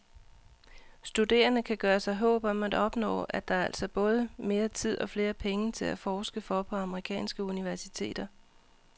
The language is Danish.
Studerende kan gøre sig håb om at opnå, er der altså både mere tid og flere penge til at forske for på amerikanske universiteter.